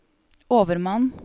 overmann